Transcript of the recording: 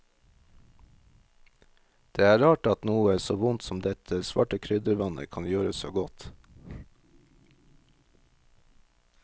Det er rart at noe så vondt som dette svarte kryddervannet kan gjøre så godt.